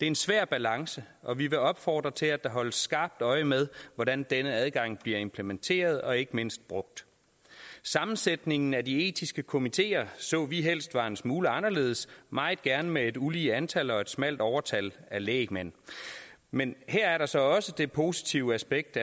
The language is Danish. en svær balance og vi vil opfordre til at der holdes skarpt øje med hvordan denne adgang bliver implementeret og ikke mindst brugt sammensætningen af de etiske komiteer så vi helst var en smule anderledes meget gerne med et ulige antal og et smalt overtal af lægmænd men her er der så også det positive aspekt